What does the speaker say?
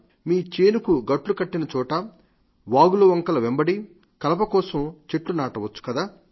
మన చేనుకు గట్లు కట్టిన చోట కలప కోసం చెట్లు నాటవచ్చు కదా